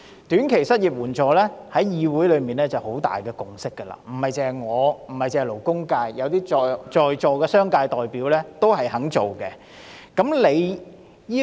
短期失業援助金計劃在議會內已取得很大共識，除了我和勞工界，在座的商界代表也贊成。